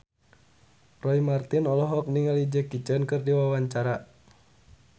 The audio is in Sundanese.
Roy Marten olohok ningali Jackie Chan keur diwawancara